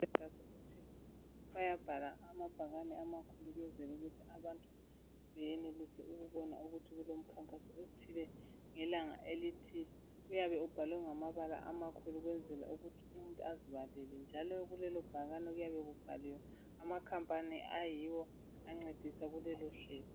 Bayabhala amabhakane amakhulu ukwenzela ukuthi abantu beyenelise ukubona ukuthi kulomkhankaso othile, ngelanga elithile. Uyabe ubhalwe ngamabala amakhulu, ukwenzela ukuthi umuntu azibalele, njalo kulelobhakani, kuyabe kubhaliwe amacompany ayiwo ancedisa kulolohlelo.